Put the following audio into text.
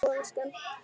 Jú, elskan.